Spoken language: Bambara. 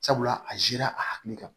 Sabula a zira a hakili kan